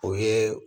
O ye